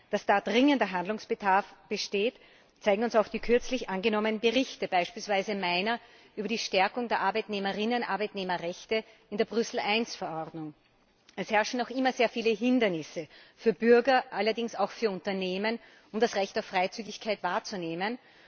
Dass da dringender Handlungsbedarf besteht, zeigen uns auch die kürzlich angenommenen Berichte, beispielsweise meiner über die Stärkung der Rechte der Arbeitnehmer und Arbeitnehmerinnen in der Brüssel I Verordnung. Es bestehen noch immer sehr viele Hindernisse für die Bürger, allerdings auch für die Unternehmen, um das Recht auf Freizügigkeit wahrzunehmen.